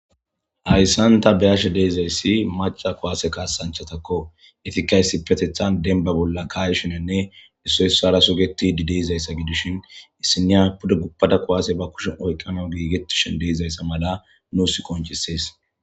Hayssanta beyashe deezayssi maca koaase kaasanchatakko etikaysi petethan denba bolla kaayshinenne issoyssara sugetidi deizayssa gidishin issiniya pude gubpada koaase ba kushen oykqana giigetishin deizayssa mala nuus qonchisees